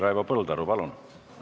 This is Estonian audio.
Raivo Põldaru, palun!